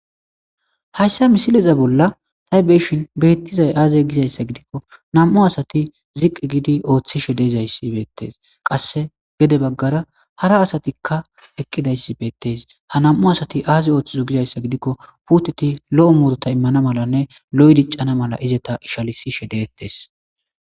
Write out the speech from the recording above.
hayssa misileza bolla ta beyshin beettizay aaze gizayssa gidikko nam7u asati ziqqi giidi ooththishe dezayssi beettes qasse gede baggara hara asatikka eqqidayssi beettes ha nam7u asati aaze ooththizo gizayssa gidikko puuteti lo7o murta immana malanne lo7 diccana mala izeta ishalisishe deettes